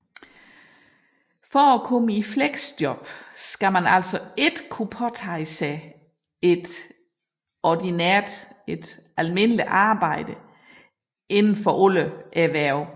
For at komme i fleksjob skal man altså ikke kunne påtage sig et ordinært arbejde inden for alle erhverv